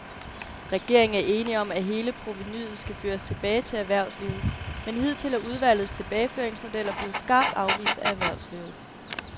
Regeringen er enig om, at hele provenuet skal føres tilbage til erhvervslivet, men hidtil er udvalgets tilbageføringsmodeller blevet skarpt afvist af erhvervslivet.